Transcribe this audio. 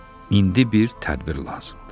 İndi bir tədbir lazımdır.